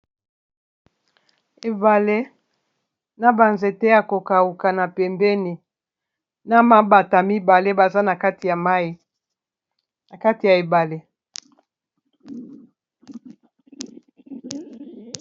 Ebale na banzete ya kokauka na pembeni na mabata mibale baza maina kati ya ebale.